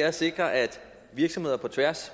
er at sikre at virksomheder på tværs